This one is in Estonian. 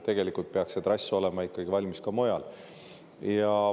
Tegelikult peaks see trass olema ikkagi valmis ka mujal.